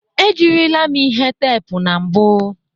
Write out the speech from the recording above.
Ejirila m ihe teepu na mbụ.